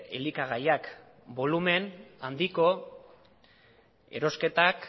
elikagaiak bolumen handiko erosketak